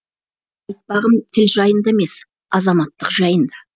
айтпағым тіл жайында емес азаматтық жайында